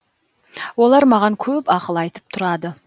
олар маған көп ақыл айтып тұрады